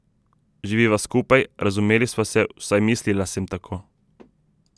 Živiva skupaj, razumeli sva se, vsaj mislila sem tako.